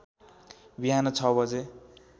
बिहान ६ बजे